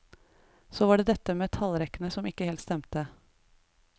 Så var det dette med tallrekkene som ikke helt stemte.